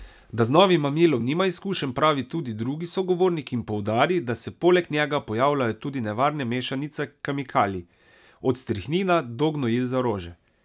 Da z novim mamilom nima izkušenj, pravi tudi drugi sogovornik in poudari, da se poleg njega pojavljajo tudi nevarne mešanice kemikalij: 'Od strihnina do gnojil za rože.